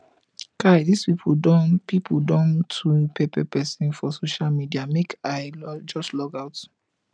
kai dis pipu don pipu don too pepper pesin for social media make i just logout